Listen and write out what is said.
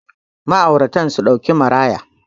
ma'auratan su dauki maraya